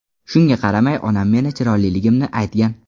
Shunga qaramay onam meni chiroyliligimni aytgan”.